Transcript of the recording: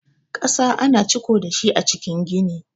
ƙasa ana ciko dashi a cikin gidan.